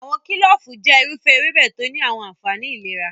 Awọn kilofu jẹ iru ewebe to ni awọn anfani ilera.